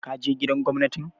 Ka je Gidan Gwamnatin?